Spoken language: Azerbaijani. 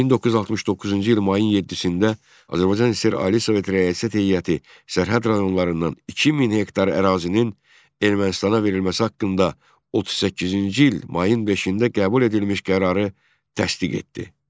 1969-cu il mayın 7-də Azərbaycan SSR Ali Sovet Rəyasət Heyəti sərhəd rayonlarından 2000 hektar ərazinin Ermənistana verilməsi haqqında 38-ci il mayın 5-də qəbul edilmiş qərarı təsdiq etdi.